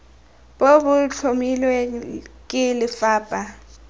bo bo tlhomilweng ke lefapha